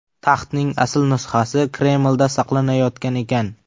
Taxtning asl nusxasi Kremlda saqlanayotgan ekan.